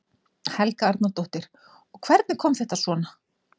Helga Arnardóttir: Og hvernig kom þetta svona?